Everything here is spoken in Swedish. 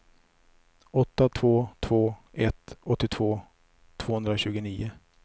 åtta två två ett åttiotvå tvåhundratjugonio